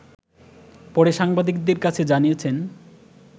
পরে সাংবাদিকদের কাছে জানিয়েছেন